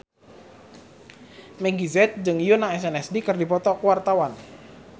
Meggie Z jeung Yoona SNSD keur dipoto ku wartawan